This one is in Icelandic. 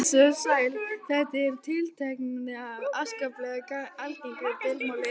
Blessuð og sæl, þetta með tiltektirnar er afskaplega algengt deilumál.